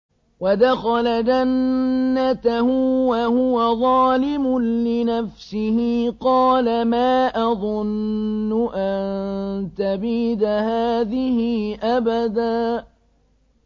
وَدَخَلَ جَنَّتَهُ وَهُوَ ظَالِمٌ لِّنَفْسِهِ قَالَ مَا أَظُنُّ أَن تَبِيدَ هَٰذِهِ أَبَدًا